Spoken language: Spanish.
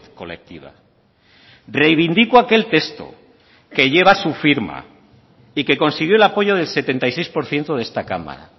colectiva reivindico aquel texto que lleva su firma y que consiguió el apoyo del setenta y seis por ciento de esta cámara